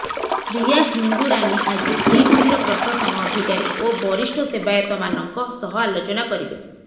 ପ୍ରିୟା ହିଙ୍ଗୁରାନି ଆଜି ଶ୍ରୀମନ୍ଦିର ପ୍ରଶାସନ ଅଧିକାରୀ ଓ ବରିଷ୍ଠ ସେବାୟତମାନଙ୍କ ସହ ଆଲୋଚନା କରିବେ